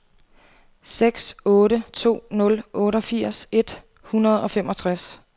seks otte to nul otteogfirs et hundrede og femogtres